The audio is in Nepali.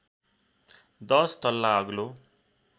१० तल्ला अग्लो